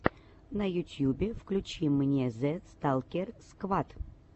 на ютьюбе включи мне зэ сталкер сквад